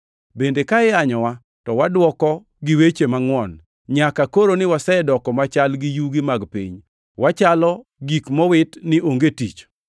bende ka iyanyowa, to wadwoko gi weche mangʼwon. Nyaka koroni wasedoko machal gi yugi mag piny; wachalo gik mowit oko ni onge tich!